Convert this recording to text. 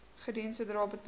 gedoen sodra betaling